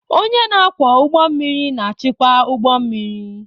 Onye na-akwọ ụgbọ mmiri na-achịkwa ụgbọ mmiri.